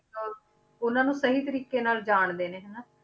ਇੱਕ ਉਹਨਾਂ ਨੂੰ ਸਹੀ ਤਰੀਕੇ ਨਾਲ ਜਾਣਦੇ ਨੇ ਹਨਾ,